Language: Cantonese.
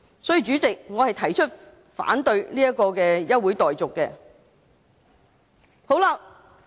所以，主席，我反對休會待續議案。